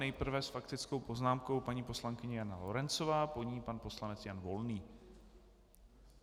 Nejprve s faktickou poznámkou paní poslankyně Jana Lorencová, po ní pan poslanec Jan Volný.